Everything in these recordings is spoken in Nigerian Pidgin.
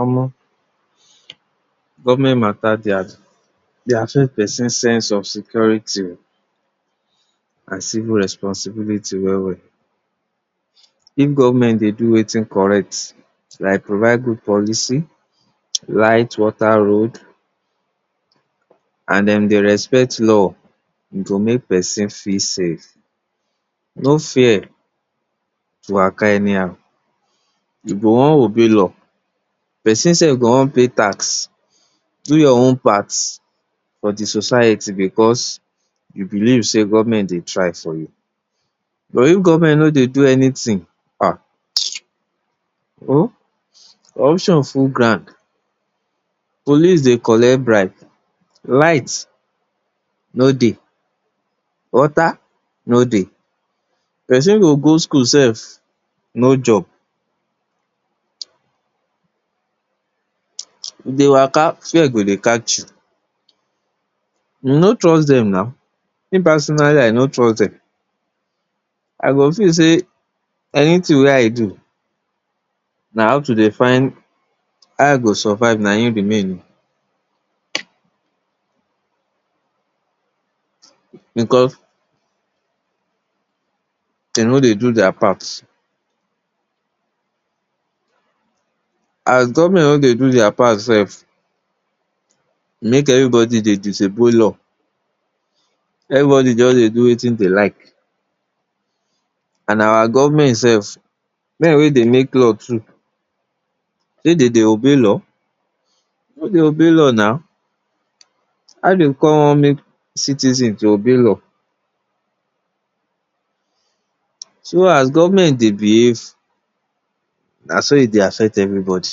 omo! government mata dey a, dey affect person sense of security and civil responsibility well well. If government dey do wetin correct, like provide good policy, light, water, road and dem dey respect law, e go mek person feel safe, no fear to waka anyhow. You go wan obey law, person sef go wan pay tax, do your own part for di society, because you believe sey government dey try for you. But if government no dey do anytin, ah! mtcheew, oh, options full ground, police dey collect bribe, light no dey, water no dey, person go go school sef, no job, you dey waka, fear go dey catch you, you no trust dem naw, me personally, I no trust dem, I go feel sey, anytin wey I do na how to dey find how I go survive na im remain o, because den no dey do dia part. As government no dey do dia part sef, mek everybody dey disobey law, everybody jus dey do wetin dey like, and our government sef, men wey dey make law too, dey den dey obey law? den no dey obey law naw, how den kon mek citizen to obey law? So, as government dey behave naso e dey affect everybody.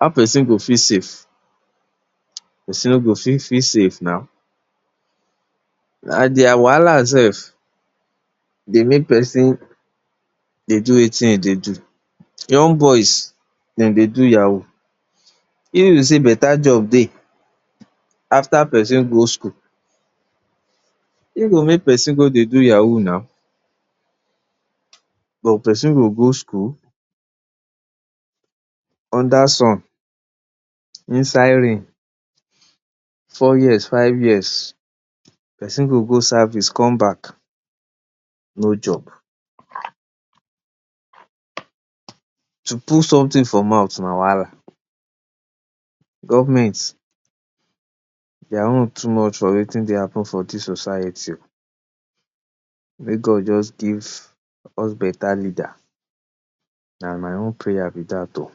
How person go feel safe? Person no go fit feel safe naw, na dia wahala sef dey mek pesin dey do wetin e dey do. Young boys, den dey do yahoo, if to sey beta job dey, after person go school, wetin go mek pesin go dey do yahoo naw, but pesin go go school, under sun, inside rain, four years, five years, pesin go go service come back, no job. To put sometin for mouth na wahala, government, dia own too much for wetin dey happen for dis society. Mek God just give us beta leader, na my own prayer be dat o.